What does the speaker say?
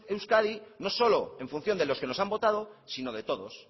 euskadi no solo en función de los que nos han votado sino de todos